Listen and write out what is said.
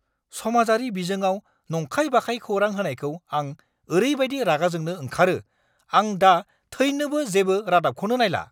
समाजारि बिजोंआव नंखाय-बाखाय खौरां होनायखौ आं ओरैबायदि रागाजोंनो ओंखारो, आं दा थैनोबो जेबो रादाबखौनो नायला!